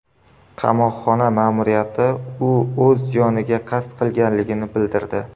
Qamoqxona ma’muriyati u o‘z joniga qasd qilganligini bildirdi.